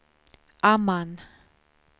Amman